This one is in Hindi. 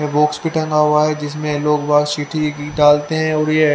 ये बॉक्स भी हुआ है जिसमें लोग बाद सिटी की डालते हैं और येह--